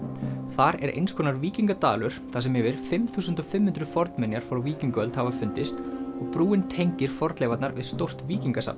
þar er eins konar þar sem yfir fimm þúsund fimm hundruð fornminjar frá víkingaöld hafa fundist og brúin tengir fornleifarnar við stórt